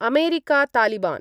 अमेरिकातालिबान्